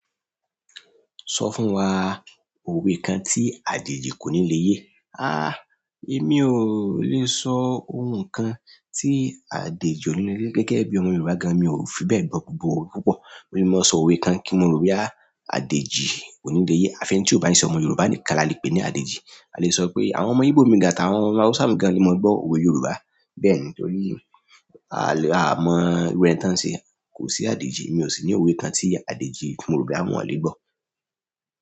Sọ fún wa òwe kan tí ajeji kò ní lè yé. A! Èmi ò lè sọ ohun kan tí Adejì ò ní lè yé gẹ́gẹ́ bí ọmọ Yorùbá gan, mi ò fi bẹ́ẹ̀ gbọ́ gbogbo òwe púpọ̀. Mo le máa sọ òwe kan kí mo ro pé a, Adejì ò ní lè yé. Àfi ẹ́ni tí ò bá ní ṣe ọmọ Yorùbá nìkan la lè pè ní Adejì. A lè sọ pé àwọn ọmọ Ígbò mìíràn tàbí àwọn Hausa mìíràn ni máa ń gbọ́ òwe Yorùbá. Bẹ́ẹ̀ ni tórí, a mọ iru ẹni tí wọ́n ń ṣe. Kò sí Adejì, mi ò sì ní òwe kan tí Adejì, ọmọ Yorùbá, wọn ò lè gbọ́.